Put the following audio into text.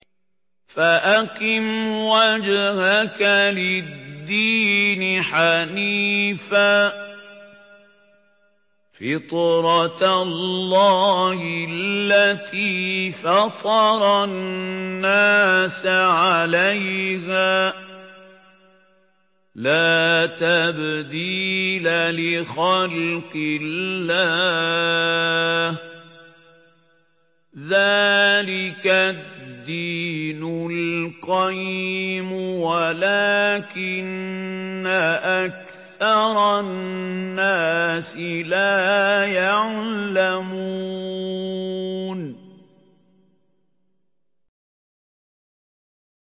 فَأَقِمْ وَجْهَكَ لِلدِّينِ حَنِيفًا ۚ فِطْرَتَ اللَّهِ الَّتِي فَطَرَ النَّاسَ عَلَيْهَا ۚ لَا تَبْدِيلَ لِخَلْقِ اللَّهِ ۚ ذَٰلِكَ الدِّينُ الْقَيِّمُ وَلَٰكِنَّ أَكْثَرَ النَّاسِ لَا يَعْلَمُونَ